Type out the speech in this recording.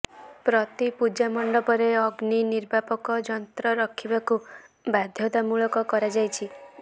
ପ୍ରତି ପୂଜା ମଣ୍ଡପରେ ଅଗ୍ନି ନିର୍ବାପକ ଯନ୍ତ୍ର ରଖିବାକୁ ବାଧ୍ୟତା ମୂଳକ କରାଯାଇଛି